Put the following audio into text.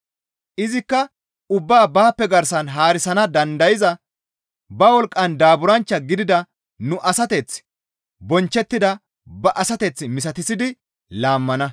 Izikka ubbaa baappe garsan haarisana dandayza ba wolqqan daaburanchcha gidida nu asateth bonchchettida ba asateth misatissidi laammana.